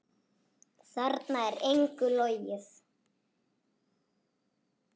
Þarna er engu logið.